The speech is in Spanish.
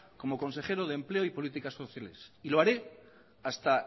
como consejero de empleo y políticas sociales y lo haré hasta